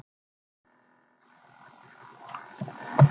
Stundum sátu einhverjir stúdentar á þingpöllum í frímínútum.